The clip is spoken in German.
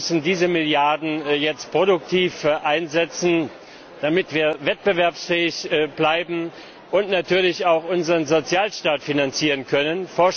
Wir müssen diese Milliarden jetzt produktiv einsetzen, damit wir wettbewerbsfähig bleiben und natürlich auch unseren Sozialstaat finanzieren können.